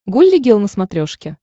гулли гел на смотрешке